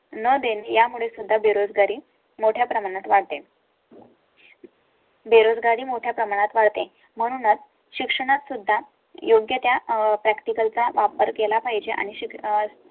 न देण्या मुळे सुद्धा बेरोजगारी मोठ्या प्रमाणात वाटेल. बेरोजगारी मोठ्या प्रमाणात वाढते. म्हणूनच शिक्षणात सुद्धा योग्य त्या practical चा वापर केला पाहिजे आणि